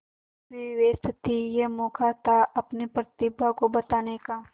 मीनू भी व्यस्त थी यह मौका था अपनी प्रतिभा को बताने का